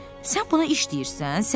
Sən sən buna iş deyirsən?